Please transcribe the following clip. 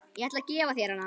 Ég ætla að gefa þér hana.